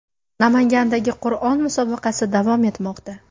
Namangandagi Qur’on musobaqasi davom etmoqda.